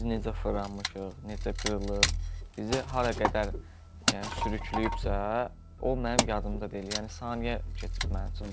Biz necə fırlanmışıq, necə qırılıb, bizi hara qədər yəni sürükləyibsə, o mənim yadımda deyil, yəni saniyə keçib mənim üçün.